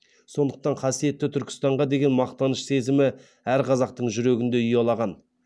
сондықтан қасиетті түркістанға деген мақтаныш сезімі әр қазақтың жүрегінде ұялаған